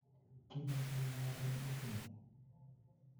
Kibun segemiat eng itinyi